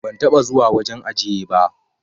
Ban taba zuwa wajen ajiye ba.